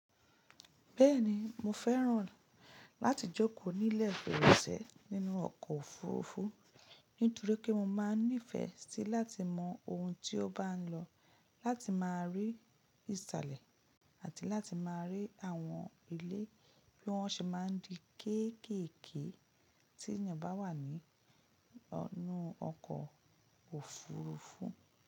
Bẹ́ẹ̀ni mo fẹ́ràn láti jókòó nílẹ̀ ìgbéròsẹ̀ nínú ọkọ̀ òfurufú nítorí pé mo máa n nífẹ̀ẹ́ síi láti mọ ohun ti o bá n lọ, láti máa rí ìsàlẹ̀ àti láti máa rí àwọn ilé bí wọ́n ṣe máa n di kéékèèké tí ènìyàn bá wà ní ọ̀ inu ọkọ̀ òfurufú.